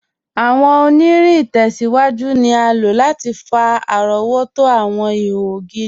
Awọn ọ̀nìrìn itẹ̀síwájú ni a ló láti fà arọ̀wọ̀tó awọn ìhò ogiri.